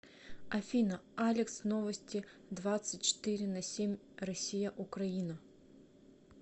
афина алекс новости двадцать четыре на семь россия украина